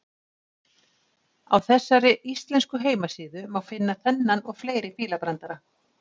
Á þessari íslensku heimasíðu má finna þennan og fleiri fílabrandara.